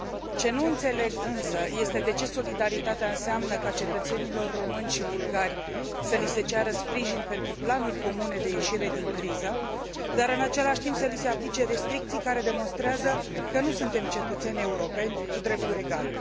Ce nu înțeleg însă este de ce solidaritatea înseamnă ca cetățenilor români și bulgari să li se ceară sprijin pentru planuri comune de ieșire din criză, dar în același timp să li se aplice restricții care demonstrează că nu suntem cetățeni europeni cu drepturi egale.